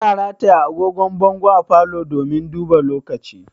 Ana rataya angogon bango a falo domin duba lokaci